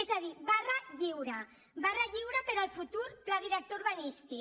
és a dir barra lliure barra lliure per al futur pla director urbanístic